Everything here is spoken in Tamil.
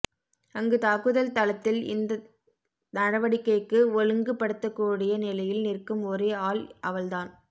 அங்கு தாக்குதல் தளத்தில் இந்த நடவடிக்கைக்கு ஒழுங்குபடுத்தக்கூடிய நிலையில் நிற்கும் ஒரே ஆள் அவள் தான்